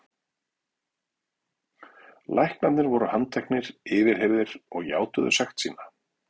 Læknarnir voru handteknir, yfirheyrðir og játuðu sekt sína.